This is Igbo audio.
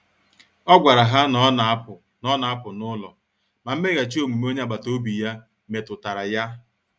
O gwara ha na ọ na-apụ na ọ na-apụ n’ụlọ, ma mmeghachi omume onye agbata obi ya metu tara ya.